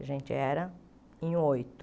A gente era em oito.